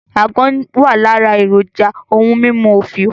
Àgbọ̀n wà lára èròjà ohun mímú òfìò